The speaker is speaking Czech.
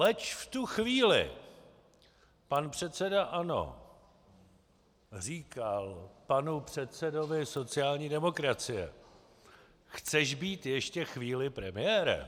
Leč v tu chvíli pan předseda ANO říkal panu předsedovi sociální demokracie: Chceš být ještě chvíli premiérem?